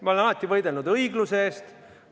Ma olen alati võidelnud õigluse eest.